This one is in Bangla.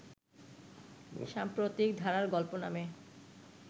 সাম্প্রতিক ধারার গল্প নামে